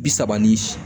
Bi saba ani